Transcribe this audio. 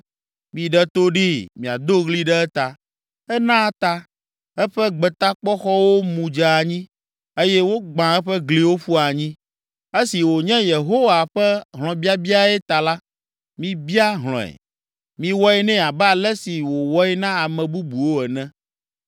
Miɖe to ɖee miado ɣli ɖe eta! Ena ta, eƒe gbetakpɔxɔwo mu dze anyi eye wogbã eƒe gliwo ƒu anyi. Esi wònye Yehowa ƒe hlɔ̃biabiae ta la, mibia hlɔ̃e; miwɔe nɛ abe ale si wòwɔe na ame bubuwo ene.